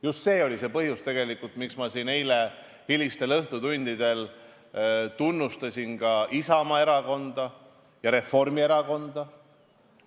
Just see oli põhjus, miks ma eile hilistel õhtutundidel tunnustasin siin Isamaa erakonda ja Reformierakonda.